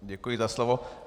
Děkuji za slovo.